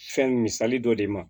Fɛn misali dɔ de ma